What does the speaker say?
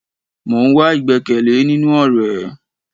Mo ń wá igbẹkẹle nínú ọrẹ